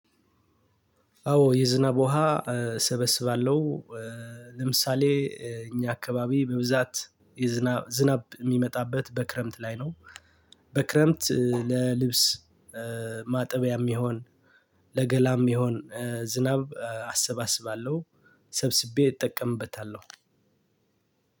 አዎ የዝናብ ውሃ እሰበስባለሁ። ለምሳሌ እኛ አካባቢ በብዛት የዝናብ ዝናብ የሚመጣበት በክረምት ላይ ነው። በክረምት ለልብስ ማጠቢያም ይሁን ለገላም ይሁን ዝናብ አሰባስባለሁ። ሰብስቤ እጠቀምበታለሁ።